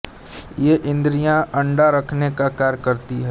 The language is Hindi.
ये इंद्रियाँ अंडा रखने का कार्य करती है